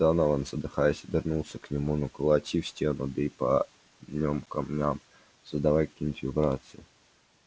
донован задыхаясь обернулся к нему ну колоти в стену бей по нём камням создавай какие-нибудь вибрации